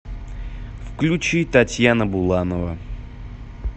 включи татьяна буланова